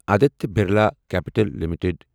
Aditya Birla capital limited